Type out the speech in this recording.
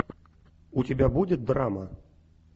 у тебя будет драма